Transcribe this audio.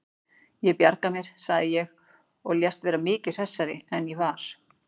Ég bjarga mér, sagði ég og lést vera miklu hressari en ég var.